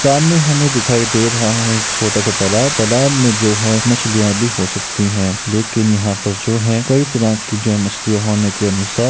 सामने हम्हें दिखाई दे रहा है एक छोटा सा तालाब -तालाब में जो है मछलिया भी हो सकती है । लेकिन यहाँ पर जो है कई तरीके की जो मछलिया होने के अनुसार--